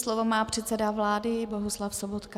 Slovo má předseda vlády Bohuslav Sobotka.